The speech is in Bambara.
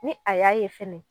Ni a y'a ye fɛnɛ